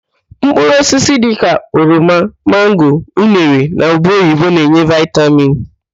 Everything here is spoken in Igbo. Mkpụrụ osisi dịka: oroma, mango, unere na ube oyibo na-enye vitamin.